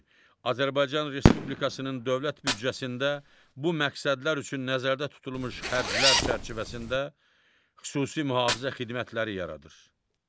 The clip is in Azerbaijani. Azərbaycan Respublikasının dövlət büdcəsində bu məqsədlər üçün nəzərdə tutulmuş xərclər çərçivəsində xüsusi mühafizə xidmətləri yaradır.